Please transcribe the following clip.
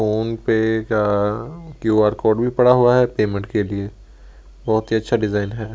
Phone पे का QR code भी पड़ा हुआ है पेमेंट के लिए बहुत ही अच्छा डिजाइन है।